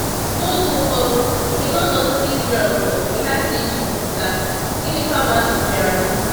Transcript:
N’oge ụfọdụ, kedu ọnọdụ ndị Ịzrel nọ mgbe ha si Ịjipt pụta, gịnịkwa bụ ajụjụ bịara?